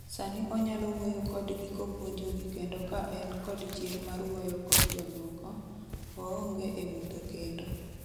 sani onyalo wuoyo kodgi kopuonjogi kendo ka en kod chir mar wuoyo kod jomoko, oonge e mudho kendo.